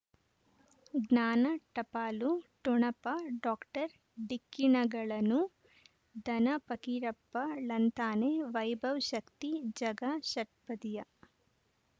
ಜ್ಞಾನ ಟಪಾಲು ಠೊಣಪ ಡಾಕ್ಟರ್ ಢಿಕ್ಕಿ ಣಗಳನು ಧನ ಫಕೀರಪ್ಪ ಳಂತಾನೆ ವೈಭವ್ ಶಕ್ತಿ ಝಗಾ ಷಟ್ಪದಿಯ